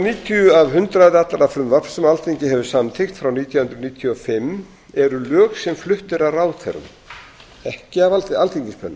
níutíu af hundraði allra frumvarpa sem alþingi hefur samþykkt frá nítján hundruð níutíu og fimm eru lög sem flutt eru af ráðherrum ekki af alþingismönnum